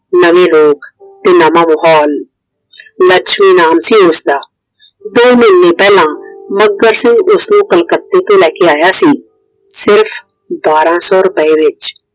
ਨਵੇਂ ਲੋਕ ਨਵਾਂ ਮਹੌਲ। ਲੱਛਮੀ ਨਾਮ ਸੀ ਉਸਦਾ। ਦੋ ਮਹੀਨੇ ਪਹਿਲਾ ਮੱਘਰ ਸਿੰਘ ਉਸਨੂੰ ਕੱਲਕੱਤੇ ਤੋਂ ਲੈਕੇ ਆਇਆ ਸੀ। ਸਿਰਫ ਬਾਰਹ ਸੋ ਰੁਪਏ ਵਿੱਚ।